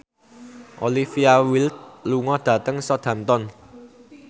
Olivia Wilde lunga dhateng Southampton